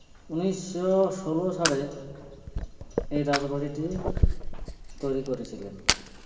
উনিশশো ষোলো সালে এই রাজাবাড়িটি তৈরি করেছিলেন